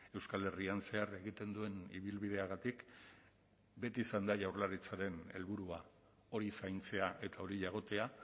euskal herrian zehar egiten duen ibilbideagatik beti izan da jaurlaritzaren helburua hori zaintzea eta hori jagotea